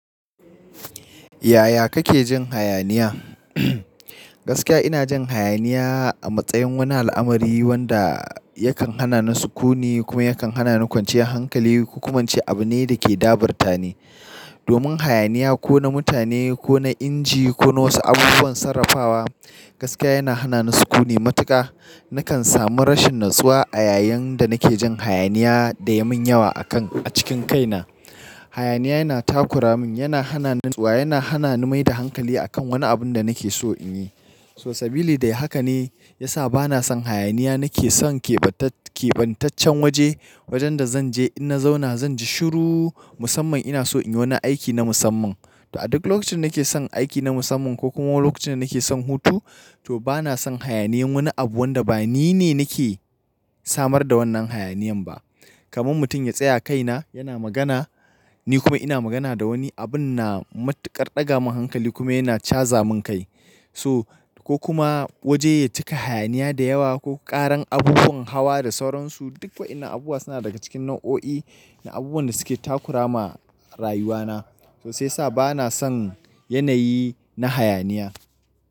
Yaya kake jin hayaniya? Gaskiya ina jin hayaniya a matsayin wani al'amari wanda yakan hana ni sukuni kuma yakan hanani kwanciyan hankali. Ko kuma ince abu ne da ke daburtani. Domin hayaniya ko na mutane ko na inji ko na wasu abubuwan sarrafawa gaskiya yana hana ni sukuni matuƙa. Nakan sami rashin natsuwa a yayin da nake jin hayaniya da yamin yawa a kan a cikin kaina. Hayaniya yana takura min, yana hana ni natsuwa, yana hana ni mai da hankali a kan wani abun da nake so in yi. So sabili da haka ne ya sa bana son hayaniya. Nake son kebantac-kebantaccen waje, wajen da zanje in na zauna zan ji shiru musamman ina so in yi wani aiki na musamman. To a duk lokacin nake son aiki na musamman ko kuma lokacin da nake son hutu to bana son hayaniyan wani abu wanda ba ni ne nake samar da wannan hayaniyan ba. Kaman mutum ya tsaya kaina yana magana ni kuma ina magana da wani abun na matuƙar ɗaga min hankali kuma yana caza min kai. So ko kuma waje ya cika hayaniya da yawa ko ƙaran abubuwan hawa da sauransu. Duk wa'innan abubuwa suna daga cikin nau'o'i na abubuwan da suke takura ma rayuwana. To sai sa bana son yanayi na hayaniya.